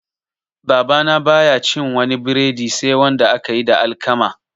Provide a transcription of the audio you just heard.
Babana baya cin wani breadi sai wanda aka yi da alkama